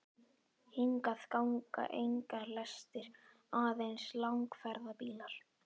Hingað ganga engar lestir, aðeins langferðabílar.